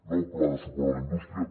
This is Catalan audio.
nou pla de suport a la indústria